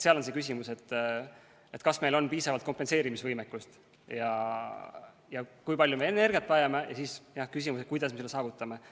Seal on see küsimus, et kas meil on piisavalt kompenseerimisvõimekust ja kui palju me energiat vajame, ja siis on, jah, veel küsimus, kuidas me selle saavutame.